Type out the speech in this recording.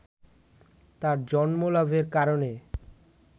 তার জন্মলাভের কারণে